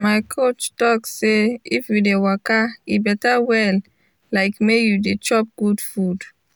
my coachy talk say if we dey waka e betta well like may you dey chop good food.